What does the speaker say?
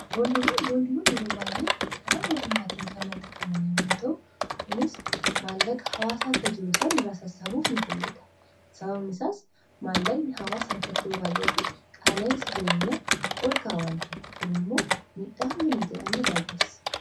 boondiwwan boondiiwwan yeroo baay'ee karaa mootummaatiin kamanxafamane muu ta'u kunis maallaqa hawaasa harka jiru san irraa sassabuuf n fayyadha sababni saas maallaqni hawaasa harkattou baayyati qaalaensa jireenyaa ol kaawanta'e kun immoo miidhaa hangana jedhana irraa geessa